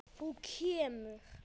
Þú kemur.